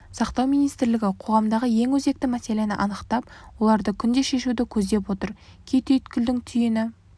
сақтау министрлігі қоғамдағы ең өзекті мәселені анықтап оларды күнде шешуді көздеп отыр кей түйткілдің түйіні